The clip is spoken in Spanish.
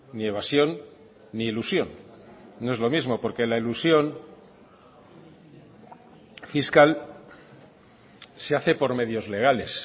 ni evasión ni elusión no es lo mismo porque la elusión fiscal se hace por medios legales